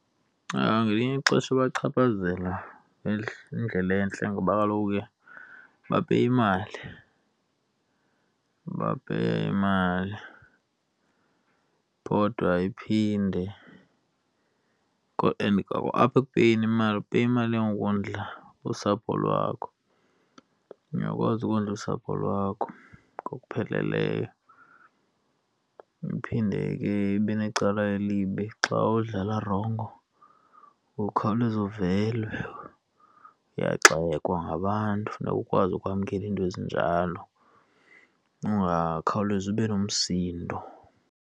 Ngelinye ixesha ibachaphazela ngendlela entle ngoba kaloku ke bapeya imali, bapeya imali kodwa iphinde kodwa and apha ekupeyeni imali, upeya imali yokondla usapho lwakho. Uyakwazi ukondla usapho lwakho ngokupheleleyo. Iphinde ke ibe necala elibi xa udlala rongo, ukhawuleze uvele, uyagxekwa ngabantu funeka ukwazi ukwamkela iinto ezinjalo ungakhawulezi ube nomsindo.